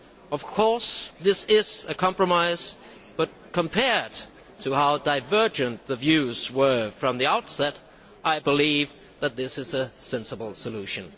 Of course, this is a compromise, but compared to how divergent the views were from the outset, I believe that this is a sensible solution.